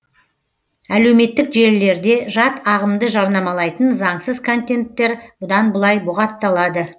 әлеуметтік желілерде жат ағымды жарнамалайтын заңсыз контенттер бұдан былай бұғатталады